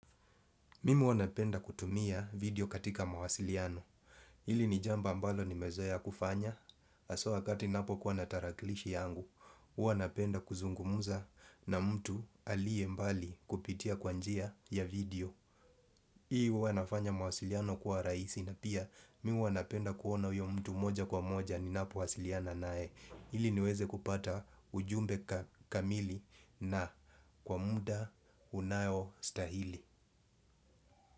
Mimi huwa napenda kutumia video katika mawasiliano. Hili ni jambo ambalo nimezoea kufanya haswa wakati napokuwa natarakilishi yangu huWa napenda kuzungumza na mtu aliye mbali kupitia kwa njia ya video hii huwa inafanya mawasiliano kuwa rahisi na pia mimi huwa napenda kuona huyo mtu moja kwa moja ninapowasiliana naye ili niweze kupata ujumbe kamili na kwa muda unayostahili.